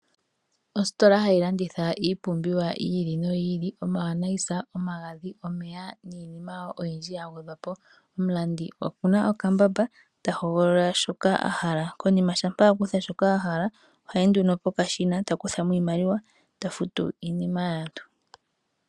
Ositola hayi landitha ipumbiwa yi ili noyi ili omayonayisa, omagadhi, omeya niinima oyindji ya gwedhwa po. Omulandi okuna okambamba ta hogolola shoka a hala ,konima shampa a kutha shoka a hala ohayi nduno pokashina taku thamo iimaliwa ta futu iinima yaantu.